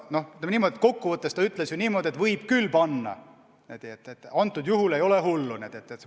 Noh, ütleme nii, et kokkuvõttes ta ütles seda, et võib küll selle kohustuse panna, ei ole hullu.